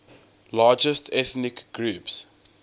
largest ethnic groups